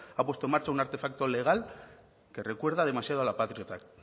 ha puesto en marcha un artefacto legal que recuerda demasiado a la patriot act